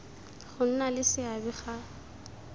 go nna le seabe ga